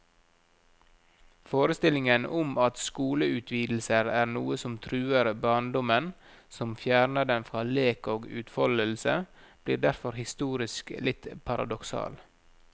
Forestillingen om at skoleutvidelser er noe som truer barndommen, som fjerner den fra lek og utfoldelse, blir derfor historisk litt paradoksal.